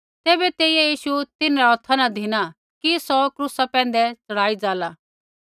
तैबै तेइयै यीशु तिन्हरै हौथा न धिना कि सौ क्रूसा पैंधै च़ढ़ाई जाला